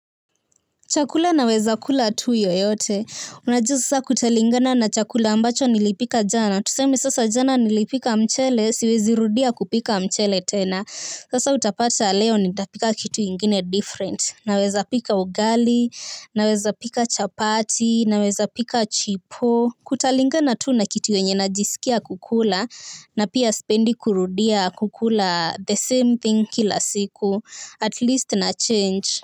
Chakula naweza kula tu yoyote. Unajua sasa kutalingana na chakula ambacho nilipika jana. Tuseme sasa jana nilipika mchele, siwezirudia kupika mchele tena. Sasa utapata leo nitapika kitu ingine different. Nawezapika ugali, nawezapika chapati, nawezapika chipo. Kutalingana tu na kitu yenye najisikia kukula na pia sipendi kurudia kukula the same thing kila siku. At least na change.